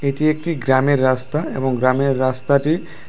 এটি একটি গ্রামের রাস্তা এবং গ্রামের রাস্তাটি --